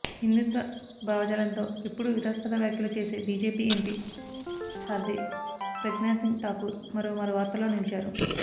హిందుత్వ భావజాలంతో ఎప్పుడూ వివాదాస్పద వ్యాఖ్యలు చేసే బీజేపీ ఎంపీ సాధ్వి ప్రజ్ఞాసింగ్ ఠాకూర్ మరోమారు వార్తల్లో నిలిచారు